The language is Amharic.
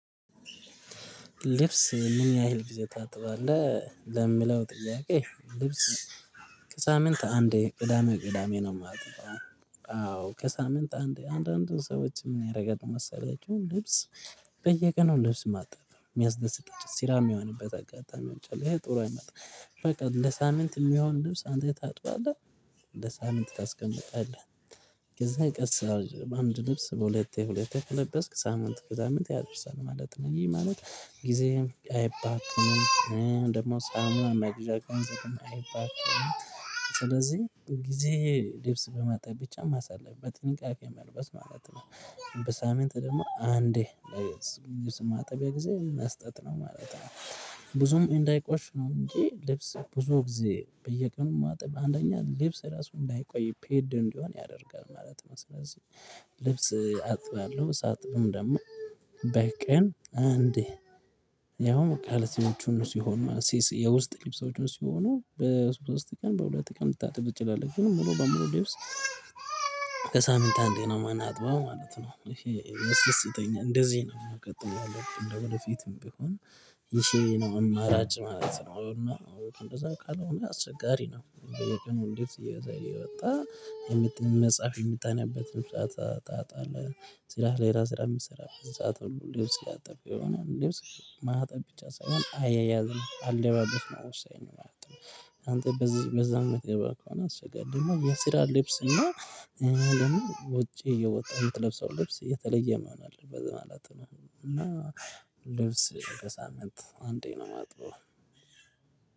ልብስ ምን ያህል ጊዜ ታጥባለህ ለሚለው ጥያቄ? ልብስ ሳምንት አንዴ ቅዳሜ ቅዳሜ ነው መጠጣው አዎ ከሳምንት አንዴ አንዳንድ ሰዎች ምን ያረጋሉ መሰላችሁ? ልብስ በየቀኑ ልብስ ማጣብ ሚያስደስታቸው ስራ ሚሆንበት አጋጣሚዎች አሉ እሄ ጥሩ አይመጣም በቃ ለሳምንት ሚሆን ልብስ አንዴ ታጥባለህ። ለሳምንት ታስቀምጣለህ። ከዛ አንድ ልብስ በሁለቴ የሁለቴ የተለበስክ ሳምንት ከሳምንት ያደርሳል ማለት ነው። ይሄ ማለት ጊዜህም አይባክንም። ደግሞ ሳሙና መግዣ ገንዘብም አይባክንም። ጊዜ ልብስ በማጠብ ብቻ ማሰለፍ በጥንቃቄ መልበስ ማለት ነው። በሳምንት ደግሞ አንዴ ልብስ ማጠቢያ ጊዜ መስጠት ነው ማለት ነው። ብዙም እንዳይቆሽሽ ነው እንጂ ልብስ ብዙ ጊዜ በየቀኑ ማጠብ አንደኛ ልብስ ራሱ እንዳይቆይ ፌድ እንዲሆን ያደርጋል ማለት ነው። ስለዚህ ልብስ አጥባለሁ ሳጥብም ደግሞ በቀን አንዴ ያው ካልሲዎችም ሲሆን ማለት የውስጥ ልብሶችም ሲሆኑ በሶስት ቀን በሁለት ቀን ልታጥብ ትችላለህ። ግን ሙሉ በሙሉ ልብስ በሳምንት አንዴ ነው ማንአጥበው ማለት ነው ይሄ ያስደስተኛል። እንደዚህ ነው ቀጥሎ ለለው ቀን ደግሞ ወደፊትም ቢሆን ይሄ ነው አማራጭ ማለት ነው። እንደዛ ቃል አስቸጋሪ ነው። የወጣህ መጽሐፍ የምታነብበት ሰዓታት አለ። ስራ ሌላ ስራ የምትሰራበት ሰዓት ሁሉ ልብስ ማጠብ ይሆናል። ልብስ ማጠብ ብቻ ሳይሆን አያያዝም አለባበስ ወሳኙ ማለት ነው። አንተ በዛ በዛ የምትገባ ከሆነ አስፈላጊ ደግሞ የስራ ልብስ እና ውጪ እየወጣክ የምትለብሰው ልብስ የተለየ መሆን አለብት ማለት ነው። እና ልብስ በሳምንት አንዴ ነው የማጥበው።